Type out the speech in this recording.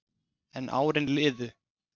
En árin liðu.